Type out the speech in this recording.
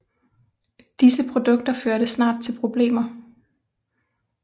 Disse produkter førte snart til problemer